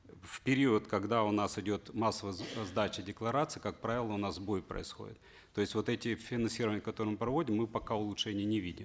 в период когда у нас идет массовая сдача деклараций как правило у нас сбой происходит то есть вот эти финансирование которое мы проводим мы пока улучшений не видим